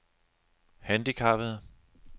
handicappede